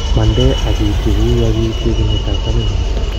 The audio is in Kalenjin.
mande akiutye kouyo kiutye kinetap kamngung